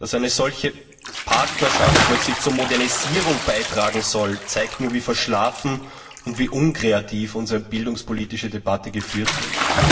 Dass eine solche Partnerschaft plötzlich zur Modernisierung beitragen soll, zeigt nur, wie verschlafen und wie unkreativ unsere bildungspolitische Debatte geführt wird.